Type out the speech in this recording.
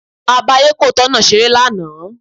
A bá ayékòótọ́ náà ṣeré lánàá